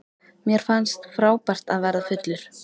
Mér fannst frábært að verða fullur.